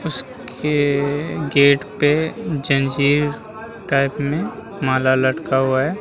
उसके गेट पे जंजीर टाइप में माला लटका हुआ है |